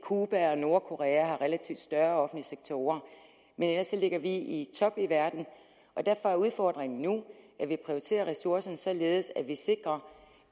cuba og nordkorea relativt større offentlige sektorer men ellers ligger vi i toppen i verden og derfor er udfordringen nu at vi prioriterer ressourcerne således at vi sikrer